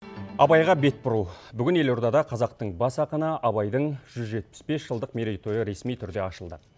абайға бет бұру бүгін елордада қазақтың бас ақыны абайдың жүз жетпіс бес жылдық мерейтойы ресми түрде ашылды